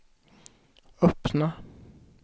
öppna